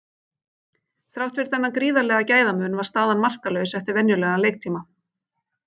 Þrátt fyrir þennan gríðarlega gæðamun var staðan markalaus eftir venjulegan leiktíma.